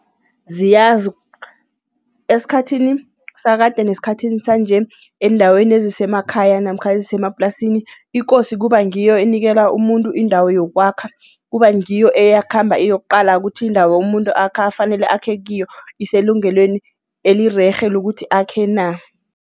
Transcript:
Ziyazi, esikhathini sakade nesikhathini sanje eendaweni ezisemakhaya namkha ezisemaplasini, ikosi kuba ngiyo enikela umuntu indawo yokwakha. Kuba ngiyo eyakhamba iyokuqala ukuthi indawo muntu afanele akhe kiyo iselungelweni elirerhe lokuthi akhe na.